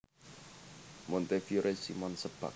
Montefiore Simon Sebag